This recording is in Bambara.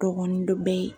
Dɔgɔnin dɔ bɛ ye